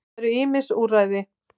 Það eru ýmis úrræði.